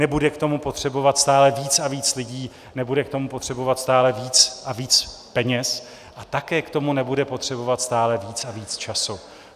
Nebude k tomu potřebovat stále víc a víc lidí, nebude k tomu potřebovat stále víc a víc peněz a také k tomu nebude potřebovat stále víc a víc času.